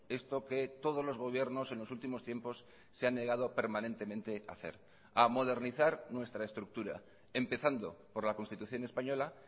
esto que todos los gobiernos en los últimos tiempos se han negado permanentemente a hacer a modernizar nuestra estructura empezando por la constitución española